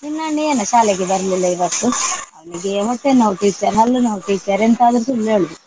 ನಿನ್ನ ಅಣ್ಣ ಏನಾ ಶಾಲೆಗೆ ಬರ್ಲಿಲ್ಲ ಇವತ್ತು. ಅವನಿಗೆ ಹೊಟ್ಟೆ ನೋವು teacher ಹಲ್ಲು ನೋವು teacher ಎಂತಾದ್ರು ಸುಳ್ಳು ಹೇಳುದು.